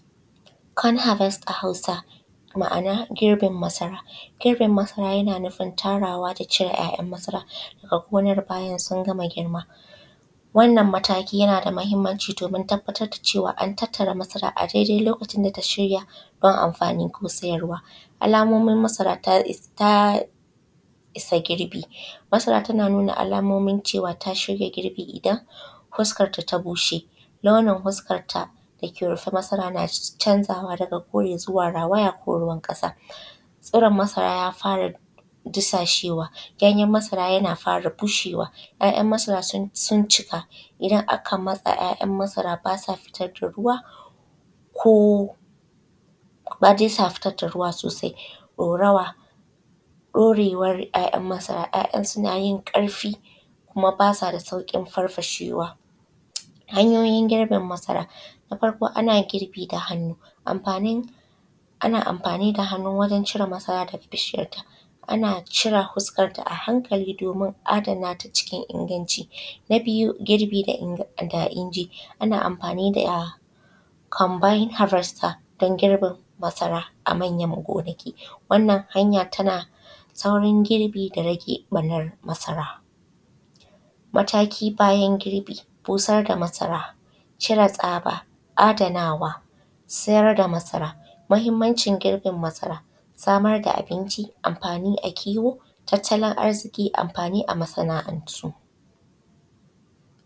Corn harvest a hausa ma’ana girbi masara. Girbin masara yana nufin tarawa da cire ƴaƴan masara daga gonar bayan sun gama girma wannnan mataki yana da mahimmmanci domin tabbatar da cewa an tattara masara a dai dai lokacin da ta shirya don amfani ko siyarwa. Alamomin masara ta ta isa girbi, masara tana nuna alomomin cewa ta shirya girbi idan huskarta ta bushe, launin huskanta dake rufe masara na canzawa daga kore zuwa rawaya ko ruwan ƙasa, tsiron masara ya fara disashewa ganyen masara ya fara bushewa, ƴaƴan masara sun cika idan aka matsa ƴaƴan masara basa fitar da ruwa ko ba dai sa fitar da ruwa sosai, ɗorawa, ɗorewan ƴaƴan masara ƴaƴan suna yin ƙarfi kuma basa da sauƙin farfashewa. Hanyoyin girbin masara, na farƙo ana girbin masara da hannu, amfanin ana amfani da hannu wujen cire masara daga bishiyarta, ana cire huskanta a hankali domin adanata cikin inganci. Na biyu girbi da da inji, ana amfani da combine harvester dun girbin masara a manyan gonaki wannan hanya tana saurin girbin da rage ɓarnan masara. Mataki bayan girbi, busar da masara cire tsaba, adanawa, siyar da masara. Mahimmancin girbin masara, samar da abinci, amfani a kiwo, tattalin arziƙi, amfani a masana’antu.